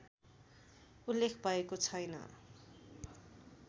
उल्लेख भएको छैन